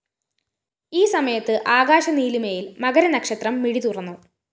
ഈ സമയത്ത്‌ ആകാശനീലിമയില്‍ മകരനക്ഷത്രം മിഴിതുറന്നു